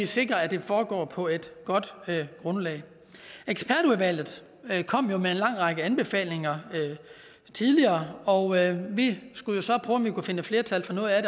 sikrer at det foregår på et godt grundlag ekspertudvalget kom jo med en lang række anbefalinger tidligere og vi skulle så prøve om vi kunne finde flertal for noget af